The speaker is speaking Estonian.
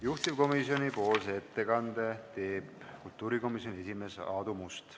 Juhtivkomisjoni ettekande teeb kultuurikomisjoni esimees Aadu Must.